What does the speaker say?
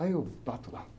Aí eu bato lá.